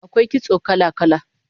AKwai kitso kala-kala